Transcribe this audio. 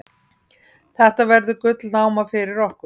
Þetta verður gullnáma fyrir okkur.